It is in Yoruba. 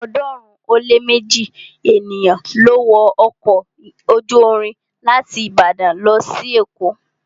ọ̀ọ́dúnrún ó lé méji ènìyàn ló wọ ọkọ̀ ojú irin láti Ìbàdàn lọ sí èkó